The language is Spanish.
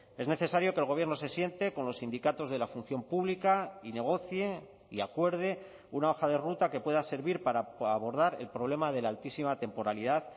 es necesario que el gobierno se siente con los sindicatos de la función pública y negocie y acuerde una hoja de ruta que pueda servir para abordar el problema de la altísima temporalidad